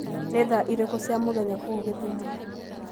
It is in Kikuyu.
Nĩ thaa irĩkũ cia mũthenya kũu githumo